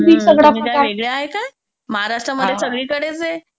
तुम्ही काय वेगळे आहे का महाराष्ट्र मध्ये सगळीकडेच हे.